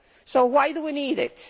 So why do we need it?